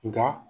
Nka